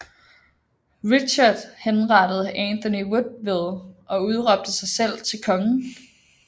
Richard henrettede Anthony Woodville og udråbte sig selv til konge